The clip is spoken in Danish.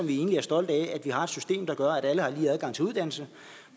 er egentlig stolte af at vi har et system der gør at alle har lige adgang til uddannelse